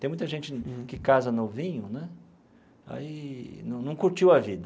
Tem muita gente que casa novinho né e aí não não curtiu a vida.